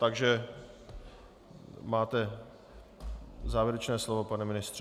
Takže máte závěrečné slovo, pane ministře.